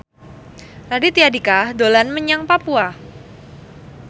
Raditya Dika dolan menyang Papua